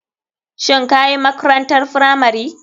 Shin kayi makrantar firamari?